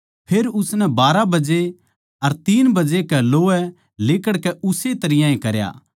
फेर उसनै बारहां बजे अर तीन बजे कै लोवै लिकड़कै उस्से तरियां करया